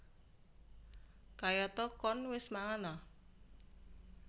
Kayata Koen wis mangan a